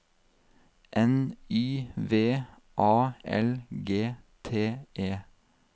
N Y V A L G T E